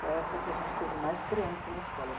Foi a época que a gente teve mais crianças na escola.